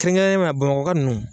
Kɛrɛnkɛrɛnyana Bamakɔka ninnu.